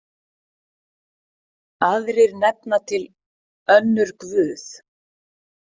Aðrir nefna til önnur guð.